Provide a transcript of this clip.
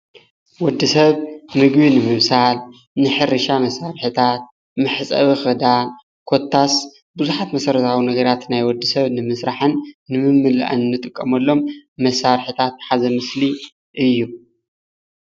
ወድሰብ ምግቢ ነምብሳል ንሕርሻ ስራሕትታት መሕፀቢ ኽዳን ኮታስ ቡዙሓት መሰረታዋ ነገራት ናይ ወዲ ሰብ ንምስራሕን ንምምላእን እንጥቀመሎም መሳርሕታት ዝሓዘ ምስሊ እዩ።